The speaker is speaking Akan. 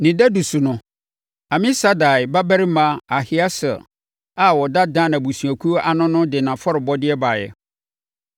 Ne dadu so no, Amisadai babarima Ahieser a ɔda Dan abusuakuo ano no de nʼafɔrebɔdeɛ baeɛ.